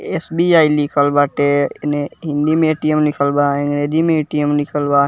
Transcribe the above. SBI. लिखल बाटे एने हिन्दी मे ए.टी.म. लिखल बा अंग्रेजी मे ए.टी.म. बा।